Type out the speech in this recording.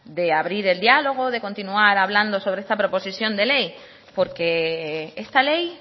de abrir el dialogo de continuar hablando sobre esta proposición de ley porque esta ley